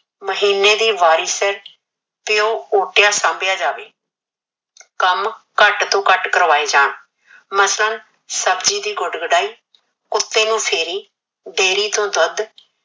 ਮਹੀਨੇ ਦੀ ਵਾਰੀ ਸਿਰ ਪਿਓ ਓਟਿਆ ਸਮ੍ਭਿਆ ਜਾਵੇ ਕਾਮ ਘਟ ਤੋ ਘਟ ਕਰਵਾਏ ਜਾਨ ਮਸਾ ਸਬਜੀ ਦੀ ਗੁਡ ਗੁਡੀ ਕੁਤੇ ਦੀ ਫੇਰੀ ਡੇਰੀ ਦੁਧ